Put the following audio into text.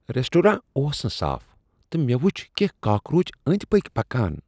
Restaurant اوس نہٕ صاف تہٕ مےٚ وچھ کینٛہہ کاکروچ أنٛدۍ پٔکۍ پکان۔